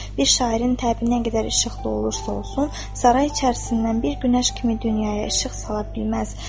Bir şairin təbi nə qədər işıqlı olursa olsun, saray içərisindən bir günəş kimi dünyaya işıq sala bilməz.